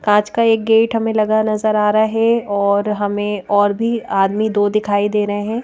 कांच का एक गेट हमें लगा नज़र आ रहा है और हमें और भी आदमी दो दिखाई दे रहे हैं।